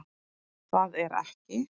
Það er ekki